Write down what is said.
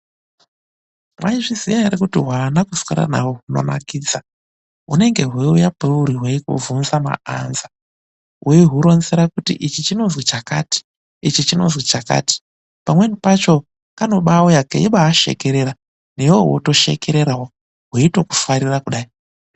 MWAIZVIZIYA ERE KUTI HWANA KUSWERA NAHWO KUNONAKIDZA HUNENGE HWEIUYA PAURI HWEIKUBVUNZA MAANSWER ,WEIHURONZERA KTI ICHI CHINONZI CHAKATI, ICHI CHINONZI CHAKATI PAMWENI PACHO KANOBAAUYA KEITOKUSHEKERERA IWEWE WOTOSHEKERERAWO WEITOHUFARIRA KUDAI.